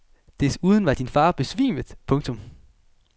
Desuden var din far besvimet. punktum